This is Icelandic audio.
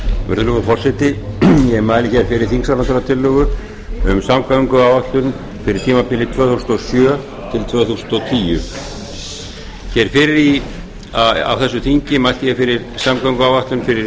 virðulegur forseti ég mæli fyrir þingsályktunartillögu um samgönguáætlun fyrir tímabilið tvö þúsund og sjö til tvö þúsund og tíu fyrr á þessu þingi mælti ég fyrir samgönguáætlun fyrir